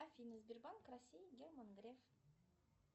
афина сбербанк россии герман греф